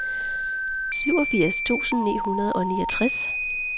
syvogfirs tusind ni hundrede og niogtres